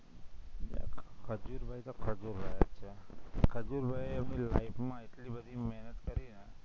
ખજૂરભાઈ તો ખજુરભાઈ, ખજુરભાઈ એ એમની life માં એટલી બધી મહેનત કરી ને